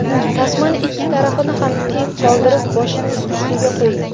Tasmani ikki tarafini ham teng qoldirib boshingiz ustiga qo‘ying.